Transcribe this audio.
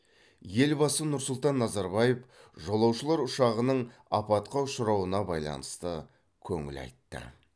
елбасы нұр сұлтан назарбаев жолаушылар ұшағының апатқа ұшырауына байланысты көңіл айтты